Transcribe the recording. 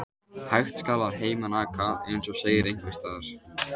Hægt skal að heiman aka, eins og segir einhvers staðar.